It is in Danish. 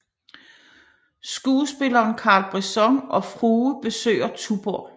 Skuespilleren Carl Brisson og frue besøger Tuborg